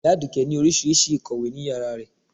Iya aduke ni oríṣiriṣi ikọwé ni iyara isé rẹ